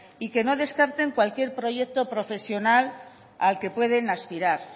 y que no descarten cualquier proyecto profesional al que pueden aspirar